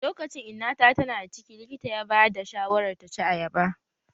Lokacin inna ta tana da ciki likita ya ba da shawarar ta ci ayaba